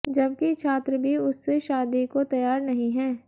जबकि छात्र भी उससे शादी को तैयार नहीं है